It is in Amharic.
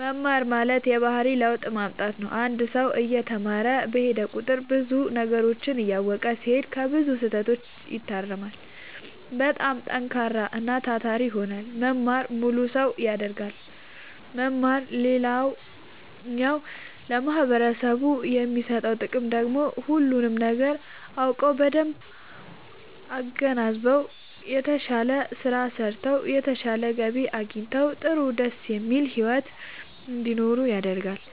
መማር ማለት የባህሪ ለውጥ ማምጣት ነው አንድ ሰው እየተማረ በሄደ ቁጥር ብዙ ነገሮችን እያወቀ ሲሄድ ከብዙ ስህተቶች ይታረማል በጣም ጠንካራና ታታሪ ይሆናል መማር ሙሉ ሰው ያደርጋል መማር ሌላኛው ለማህበረሰቡ የሚሰጠው ጥቅም ደግሞ ሁሉንም ነገር አውቀው በደንብ አገናዝበው የተሻለ ስራ ሰርተው የተሻለ ገቢ አግኝተው ጥሩ ደስ የሚል ሒወት እንዲኖሩ ያደርጋቸዋል።